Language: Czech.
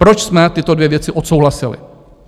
Proč jsme tyto dvě věci odsouhlasili?